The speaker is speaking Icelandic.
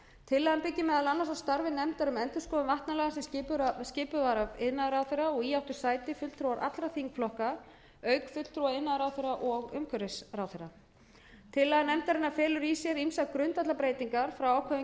tillagan byggir meðal annars á starfi nefndar um endurskoðun vatnalaga sem skipuð var af iðnaðarráðherra og í áttu sæti fulltrúar allra þingflokka auk fulltrúa iðnaðarráðherra og umhverfisráðherra tillaga nefndarinnar felur í sér ýmsar grundvallarbreytingar frá ákvæðum